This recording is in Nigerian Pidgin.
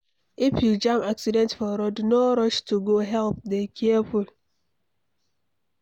If you jam accident for road no rush to go help, dey careful